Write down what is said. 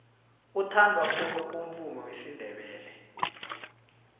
uthandwa khulu umvumo wesindebele